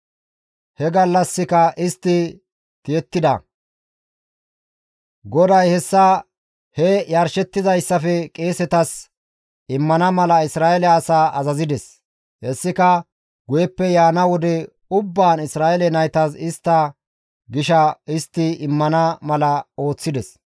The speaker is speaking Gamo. He gallassika istti tiyettida; GODAY hessa he yarshettizayssafe qeesetas immana mala Isra7eele asaa azazides; hessika guyeppe yaana wode ubbaan Isra7eele naytas istta gisha histti immana mala ooththides.